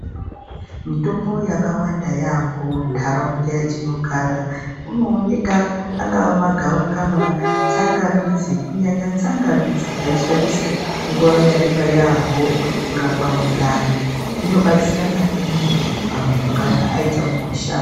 Mitombo yakawanda yaambo muntaraunda yetinogara kunooneka angava magavakava, tsangamidzi. Kunyanya tsangamidzi taishandisa nguva yareba yaamho kurapa mundani inobatsira maningi pamuntu kana aita mukuhlani.